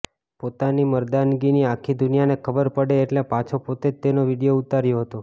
પોતાની મર્દાનગીની આખી દુનિયાને ખબર પડે એટલે પાછો પોતે જ તેનો વીડિયો ઉતાર્યો હતો